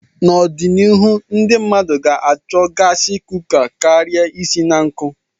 N'obianihu, ndị mmadụ ga-achọ gaasi kuka kara isi na nkụ.